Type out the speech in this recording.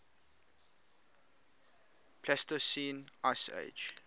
pleistocene ice age